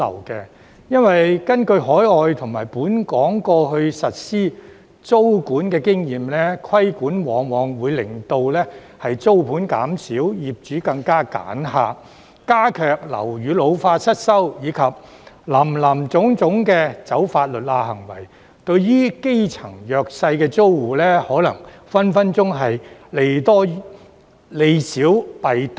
根據海外和本港過去實施租管的經驗，規管往往會令租盤減少、業主更為"揀客"、樓宇老化失修問題加劇，以致出現林林總總走"法律罅"的行為，對基層弱勢租戶而言，隨時利少弊多。